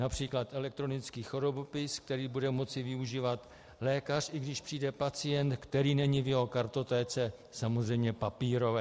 Například elektronický chorobopis, který bude moci využívat lékař, i když přijde pacient, který není v jeho kartotéce, samozřejmě papírové.